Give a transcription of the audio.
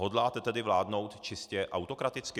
Hodláte tedy vládnout čistě autokraticky?